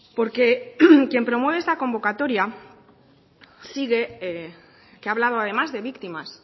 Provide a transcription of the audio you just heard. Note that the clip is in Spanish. porque quien promueve esta convocatoria sigue que ha hablado además de víctimas